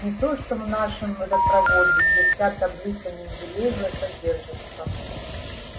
не то что в нашем водопроводе где вся таблица менделеева содержится